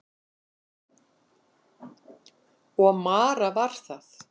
Og Mara var það.